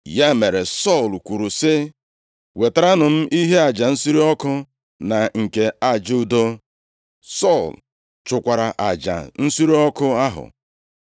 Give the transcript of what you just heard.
Ya mere, Sọl kwuru sị, “Wetaranụ m ihe aja nsure ọkụ na nke aja udo.” Sọl chụkwara aja nsure ọkụ ahụ.